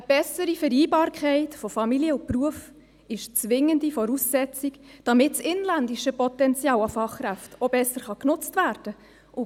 Eine bessere Vereinbarkeit von Familie und Beruf ist eine zwingende Voraussetzung, damit das inländische Potenzial an Fachkräften besser genutzt werden kann.